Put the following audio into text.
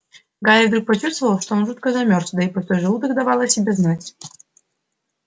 гарри вдруг почувствовал что он жутко замёрз да и пустой желудок давал о себе знать